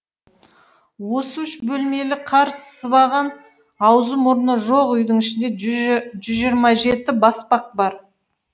осы үш бөлмелі қар сыбаған аузы мұрны жоқ үйдің ішінде жүз жиырма жеті баспақ бар